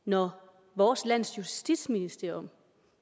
når vores lands justitsministerium